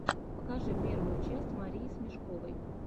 покажи первую часть марии смешковой